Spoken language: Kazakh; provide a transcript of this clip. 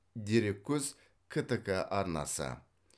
дереккөз ктк арнасы